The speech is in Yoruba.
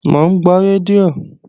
Mò ń gbọ́ rédíò